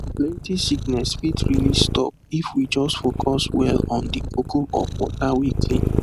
plenty sickness fit really stop if we just focus well on the koko of water wey clean